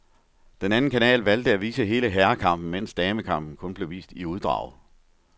Den anden kanal valgte at vise hele herrekampen, mens damekampen kun blev vist i uddrag.